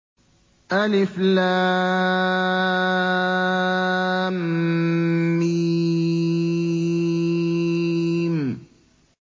الم